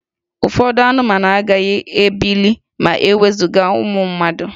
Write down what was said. Ụfọdụ anụmanụ agaghị ebili ma e wezuga ụmụ mmadụ